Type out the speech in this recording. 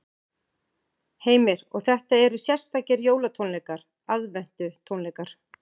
Heimir: Og þetta eru sérstakir jólatónleikar, aðventutónleikar?